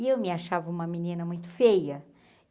E eu me achava uma menina muito feia.